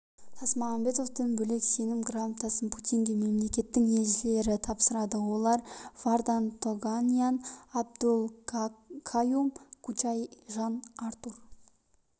тасмағамбетовтен бөлек сенім грамотасын путинге мемлекеттің елшілері тапсырады олар вардан тоганян абдул каюм кучай жан артур